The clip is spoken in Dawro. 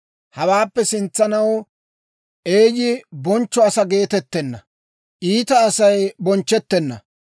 Hawaappe sintsanaw eeyyi bonchcho asaa geetettenna. Iita Asay bonchchettenna.